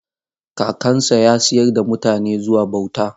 Kakansa ya sayar da mutane zuwa bauta.